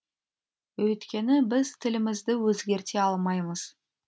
өйткені біз тілімізді өзгерте алмаймыз